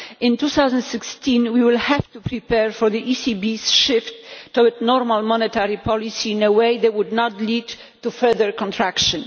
In 2016 we will have to prepare for the ECB's shift towards normal monetary policy in a way that will not lead to further contraction.